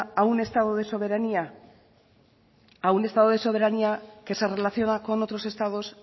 a un estado de soberanía que se relaciona con otros estados